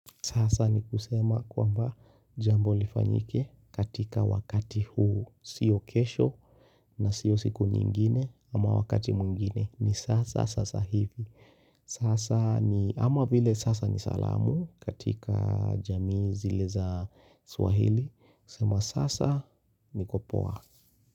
Sasa ni kusema kwamba jambo lifanyike katika wakati huu sio kesho na sio siku nyingine ama wakati mwingine ni sasa sasa hivi. Sasa ni ama vile sasa ni salamu katika jamii zile za swahili. Kusema sasa nikopoa.